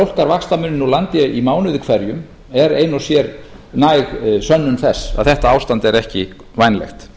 úr landi í mánuði hverjum er ein og sér næg sönnun þess að þetta ástand er ekki vænlegt